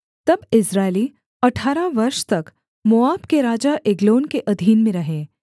तब इस्राएली अठारह वर्ष तक मोआब के राजा एग्लोन के अधीन में रहे